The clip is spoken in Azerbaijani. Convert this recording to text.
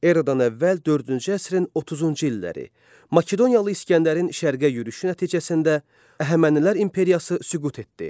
Eradan əvvəl dördüncü əsrin 30-cu illəri Makedoniyalı İsgəndərin Şərqə yürüşü nəticəsində Əhəmənilər imperiyası süqut etdi.